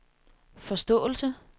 forståelse